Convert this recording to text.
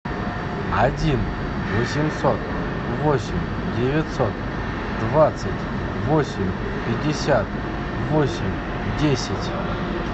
один восемьсот восемь девятьсот двадцать восемь пятьдесят восемь десять